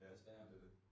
Ja men det det